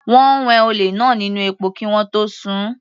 Wọ́n wẹ olè náà nínú epo kí wọ́n tó sun-ùn.